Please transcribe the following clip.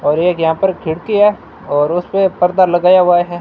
और एक यहां पर खिड़की है और उस पे पर्दा लगाया हुआ है।